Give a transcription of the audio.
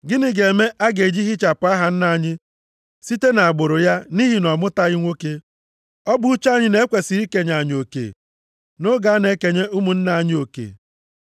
Gịnị ga-eme a ga-eji hichapụ aha nna anyị site nʼagbụrụ ya nʼihi na ọ mụtaghị nwoke? Ọ bụ uche anyị na e kwesiri ikenye anyị oke nʼoge a na-enye ụmụnne nna anyị oke.”